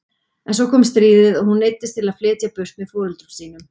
En svo kom stríðið og hún neyddist til að flytja burt með foreldrum sínum.